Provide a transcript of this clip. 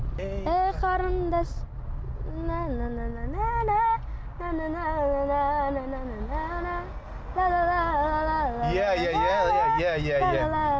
ей қарындас иә иә иә иә иә